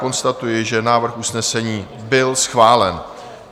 Konstatuji, že návrh usnesení byl schválen.